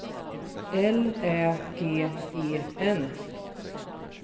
L Ä G E N